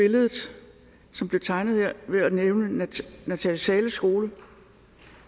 billedet som blev tegnet her ved at nævne natalie zahles skole